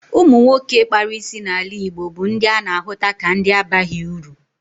Ụmụ nwoke kpara isi n'ala Igbo bụ ndị a na-ahụta ka ndị abaghị uru.